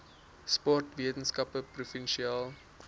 sport weskaapse provinsiale